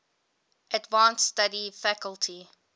advanced study faculty